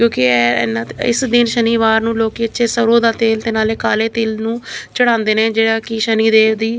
ਕਿਉਂਕਿ ਏ ਇਹਨਾਂ ਇਸ ਦਿਨ ਸ਼ਨੀਵਾਰ ਨੂੰ ਲੋਕੀ ਇੱਥੇ ਸਰੋਂ ਦਾ ਤੇਲ ਤੇ ਨਾਲੇ ਕਾਲੇ ਤਿਲ ਨੂੰ ਚੜਾਉਂਦੇ ਨੇ ਜਿਹੜਾ ਕਿ ਸ਼ਨੀ ਦੇਵ ਦੀ --